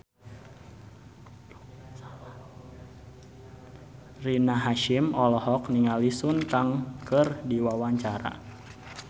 Rina Hasyim olohok ningali Sun Kang keur diwawancara